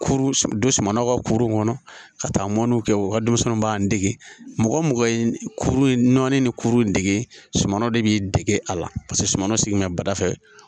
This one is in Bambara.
Don don suman na ka kurun kɔnɔ ka taa mɔniw kɛ u ka denmisɛnninw b'an dege mɔgɔ o mɔgɔ nɔnnen ni kurunde sumanw de bɛ dege a la paseke suman si min bɛ badafɛ